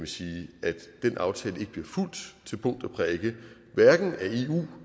sige at den aftale ikke bliver fulgt til punkt og prikke hverken af eu